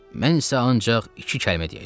Mən isə ancaq iki kəlmə deyəcəm.